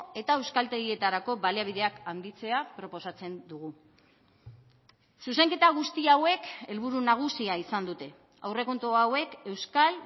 eta euskaltegietarako baliabideak handitzea proposatzen dugu zuzenketa guzti hauek helburu nagusia izan dute aurrekontu hauek euskal